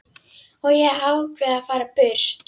Og ég ákveð að fara burt.